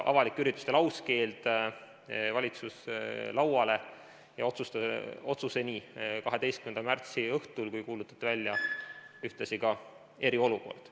Avalike ürituste lauskeeld jõudis valitsuse lauale ja otsuseni 12. märtsi õhtul, kui kuulutati välja ühtlasi eriolukord.